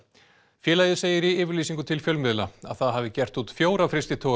félagið segir í yfirlýsingu til fjölmiðla að það hafi gert út fjóra frystitogara